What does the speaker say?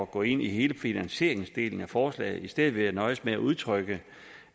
gå ind i hele finansieringsdelen af forslaget i stedet vil jeg nøjes med at udtrykke